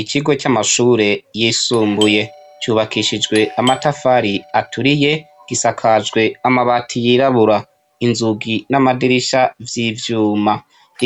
Ikigo camashure yisumbuye cubakishijwe amatafari aturiye gisakajwe amabati yirabura inzugi namadirisha vyivyuma